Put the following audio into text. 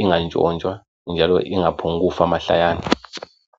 ingatshontshwa njalo ingaphongufa mahlayana.